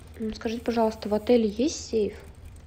скажите пожалуйста в отеле есть сейф